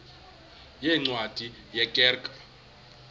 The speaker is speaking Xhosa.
yeencwadi ye kerk